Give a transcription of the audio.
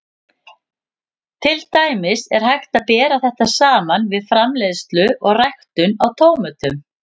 Til dæmis er hægt að bera þetta saman við framleiðslu og ræktun á tómötum.